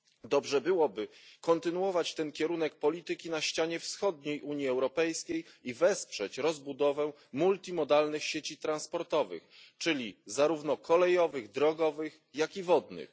Dobrze byłoby kontynuować ten kierunek polityki na ścianie wschodniej Unii Europejskiej i wesprzeć rozbudowę multimodalnych sieci transportowych, czyli zarówno kolejowych, drogowych, jak i wodnych.